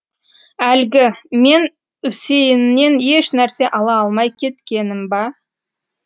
әлгі мен үсейіннен ешнәрсе ала алмай кеткенім ба